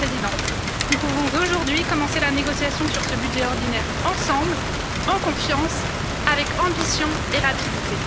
Monsieur le Président, nous pouvons aujourd'hui commencer la négociation sur ce budget ordinaire ensemble, en confiance, avec ambition et rapidité.